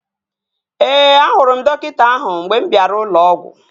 Ee, ahụrụ m dọkịta ahụ mgbe m bịara ụlọ ọgwụ